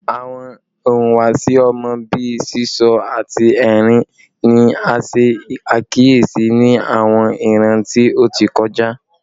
Awọn ihuwasi ọmọ bii sisọ ati ẹrin ni a ṣe akiyesi ni awọn iran ti o ti kọja